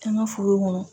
An ka foro kɔnɔ